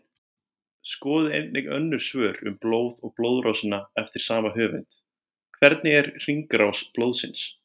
Skoðið einnig önnur svör um blóð og blóðrásina eftir sama höfund: Hvernig er hringrás blóðsins?